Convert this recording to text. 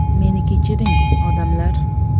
Meni kechiring, odamlar.